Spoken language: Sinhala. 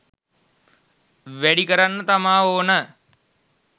වැඩි කරන්න තමා ඕන.